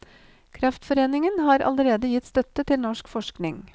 Kreftforeningen har allerede gitt støtte til norsk forskning.